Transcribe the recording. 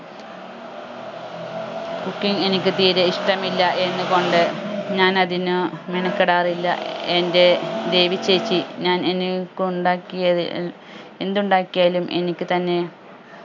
cooking എനിക്ക് തീരെ ഇഷ്ടമില്ല എന്ന് കൊണ്ട് ഞാൻ അതിനു അഹ് മെനക്കെടാറില്ല എന്റെ ദേവി ചേച്ചി ഞാൻ എന്നെ കൊണ്ടാക്കിയത് ഏർ എന്തുണ്ടാക്കിയാലും എനിക്ക് തന്നെ